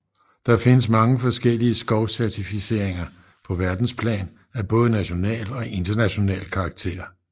Der findes mange forskellige skovcertificeringer på verdensplan af både national og international karakter